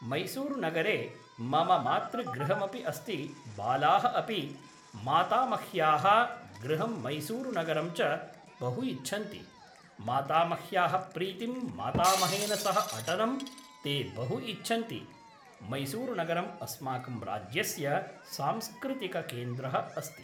मैसूरुनगरे मम मातृगृहमपि अस्ति बालाः अपि मातामह्याः गृहं मैसूरुनगरं च बहु इच्छन्ति मातामह्याः प्रीतिं मातामहेन सह अटनं ते बहु इच्छन्ति मैसूरुनगरम् अस्माकं राज्यस्य सांस्कृतिककेन्द्रः अस्ति